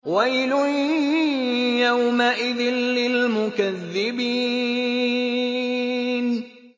وَيْلٌ يَوْمَئِذٍ لِّلْمُكَذِّبِينَ